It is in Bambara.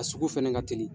A sugu fɛnɛ ka teli